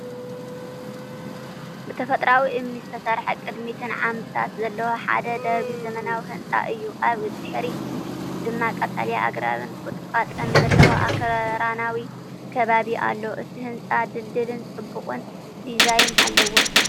ብተፈጥሮኣዊ እምኒ ዝተሰርሐ ቅድሚትን ዓምድታትን ዘለዎ ሓደ ደርቢ ዘመናዊ ህንፃ እዩ። ኣብ ድሕሪት ድማ ቀጠልያ ኣግራብን ቁጥቋጥን ዘለዎ ኣኽራናዊ ከባቢ ኣሎ። እቲ ህንጻ ድልዱልን ጽቡቕን ዲዛይን ኣለዎ።